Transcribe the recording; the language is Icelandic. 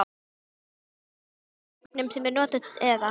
Eru þetta sömu vopnin sem eru notuð eða?